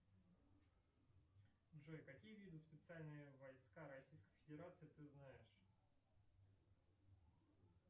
джой какие виды специальные войска российской федерации ты знаешь